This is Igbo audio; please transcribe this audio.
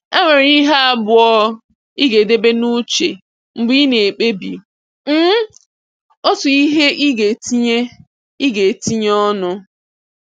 E nwere ihe abụọ ị ga-edebe n’uche mgbe ị na-ekpebi um otu ihe ị ga-etinye ị ga-etinye ọnụ